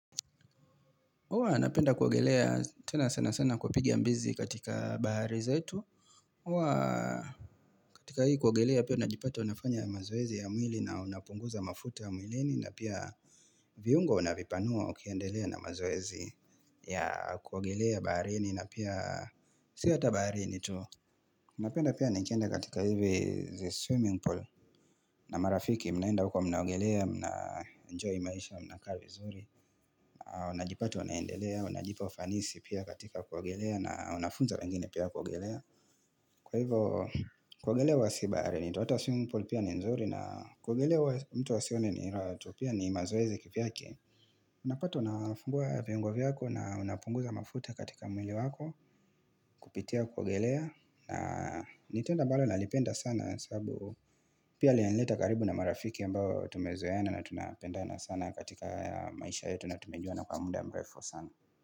Huwa napenda kuogelea tena sana sana kupigi mbizi katika bahari zetu. Uwa katika hii kuogelea pia unajipata unafanya mazoezi ya mwili na unapunguza mafuta ya mwilini na pia viungo unavipanua ukiandelea na mazoezi ya kuogelea baharini na pia siyo hata baharini tu. Unapenda pia nikienda katika hivi ze swimming pool na marafiki, mnaenda huko mnaogelea, mna enjoy maisha, mna kaavizuri Unajipatu unaendelea, unajipa ufanisi pia katika kuogelea na unafunza wengine pia kuogelea Kwa hivo, kuogelea wa sibaharini, hata swimming pool pia ni nzuri na kuogelea wa mtu wasione ni rahatu pia ni mazoezi kiviake Unapata unafungua viungo vyako na unapunguza mafuta katika mwili wako Kupitia kuogelea na nitendo ambalo nalipenda sana sababu pia linanileta karibu na marafiki aMbao tumezoena na tunapendana sana katika maisha yetu na tumejua na kwa mda mrefu sana.